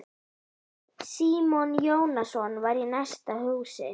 Símon Jónasson var í næsta húsi.